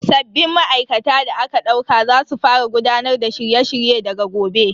Sabbin ma'aikata da aka dauka za su fara gudanar da shirye shirye daga gobe.